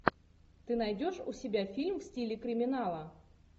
ты найдешь у себя фильм в стиле криминала